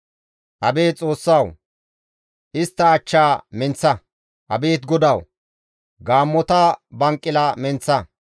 Abeet Xoossawu! Istta achchaa menththa; abeet GODAWU! Gaammota banqila menththa.